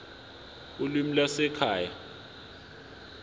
ulimi lwasekhaya p